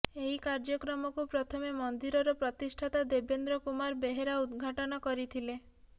ଏହି କାର୍ଯ୍ୟକ୍ରମକୁ ପ୍ରଥମେ ମନ୍ଦିରର ପ୍ରତିଷ୍ଠାତା ଦେବେନ୍ଦ୍ର କୁମାର ବେହେରା ଉଦ୍ଘାଟନ କରିଥିଲେ